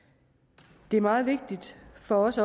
det er også meget vigtigt for os